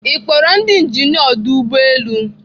Ị kpọrọ ndị injinia ọdọ ụgbọelu?